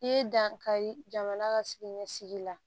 I ye dankari jamana ka siniɲɛsigi la